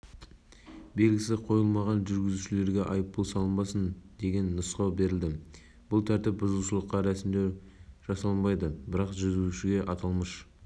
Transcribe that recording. басшысы бақытжан малыбаевтың айтуынша әрбір жүргізуші көліктің терезесіне белгі қоюға міндетті алайда ол жүргізушілердің көлік терезесіне